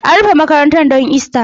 An rufe makarantar don Ista